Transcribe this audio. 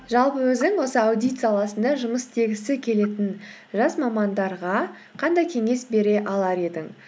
жалпы өзің осы аудит саласында жұмыс істегісі келетін жас мамандарға қандай кеңес бере алар едің